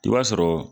I b'a sɔrɔ